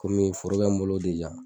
Kɔmi foro bɛ n bolo